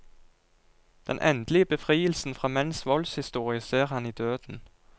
Den endelige befrielsen fra menns voldshistorie ser han i døden.